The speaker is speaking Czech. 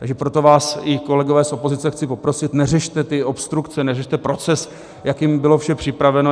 Takže proto vás, i kolegové z opozice, chci poprosit, neřešte ty obstrukce, neřešte proces, jakým bylo vše připraveno.